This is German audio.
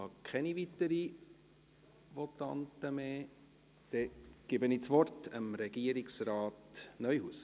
Ich habe keine weiteren Votanten mehr auf der Liste.